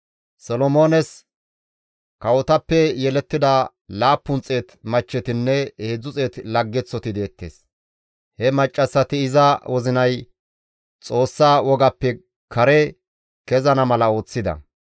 Solomoones kawotappe yelettida 700 machchetinne 300 laggeththoti deettes; he maccassati iza wozinay Xoossa wogappe kare kezana mala ooththida.